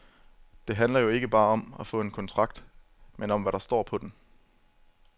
Det handler jo ikke bare om at få en kontrakt, men om hvad der står på den.